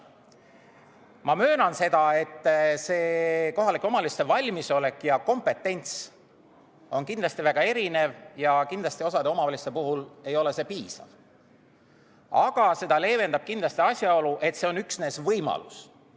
Ma möönan, et see kohalike omavalitsuste valmisolek ja kompetents on kindlasti väga erinev ja kindlasti osa omavalitsuste puhul ei ole see piisav, aga seda leevendab kindlasti asjaolu, et see on üksnes võimalus.